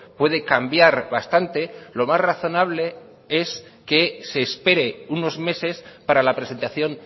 puede cambiar bastante lo más razonable es que se espere unos meses para la presentación